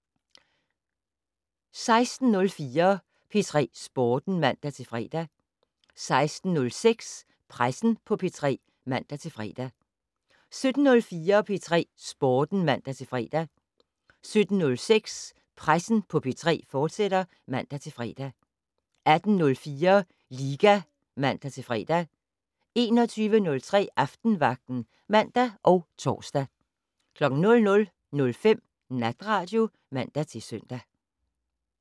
16:04: P3 Sporten (man-fre) 16:06: Pressen på P3 (man-fre) 17:04: P3 Sporten (man-fre) 17:06: Pressen på P3, fortsat (man-fre) 18:04: Liga (man-fre) 21:03: Aftenvagten (man og tor) 00:05: Natradio (man-søn)